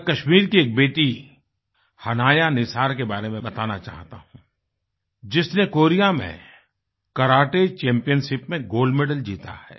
मैं कश्मीर की एक बेटी हनाया निसार के बारे में बताना चाहता हूँ जिसने कोरिया में करते चैम्पियनशिप में गोल्ड मेडल जीता है